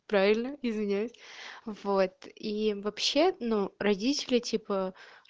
правильно извиняюсь вот и вообще ну родители типа